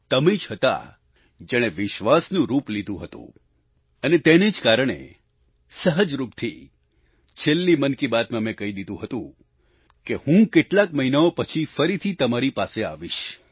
તમે જ હતા જેણે વિશ્વાસનું રૂપ લીધું હતું અને તેને જ કારણે સહજ રૂપથી છેલ્લી મન કી બાત માં મેં કહી દીધું હતું કે હું કેટલાક મહિનાઓ પછી ફરીથી તમારી પાસે આવીશ